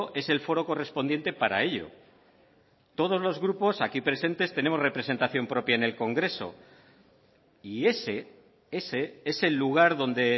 es el foro correspondiente para ello todos los grupos aquí presentes tenemos representación propia en el congreso y ese ese es el lugar donde